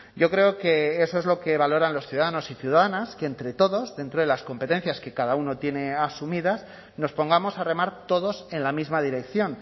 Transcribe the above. yo creo que eso es lo que valoran los ciudadanos y ciudadanas que entre todos dentro de las competencias que cada uno tiene asumidas nos pongamos a remar todos en la misma dirección